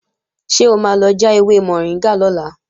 Ṣé o máa lọ já ewé mọ̀ríngà lọ́la?